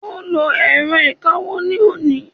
o lo èrọ ìkawó ni oni